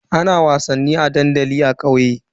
Ana wasannin a dandali a kauye.